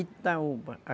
Itaúba.